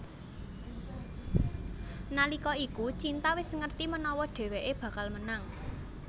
Nalika iku Cinta wis ngerti menawa dheweké bakal menang